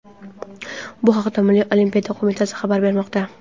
Bu haqda Milliy olimpiya qo‘mitasi xabar bermoqda.